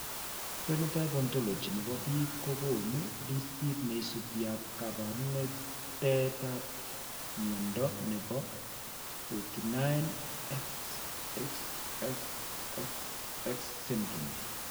Phenotype Ontology ne po biik ko konu listiit ne isubiap kaabarunetap mnyando ne po 49,XXXXX syndrome.